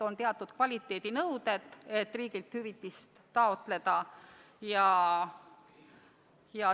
On teatud kvaliteedinõuded, mis tuleb täita, et riigilt hüvitist taotleda.